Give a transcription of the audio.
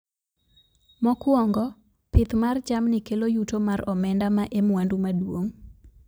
Mokwongo, pith mar jamni kelo yuto mar omenda ma e mwandu maduong'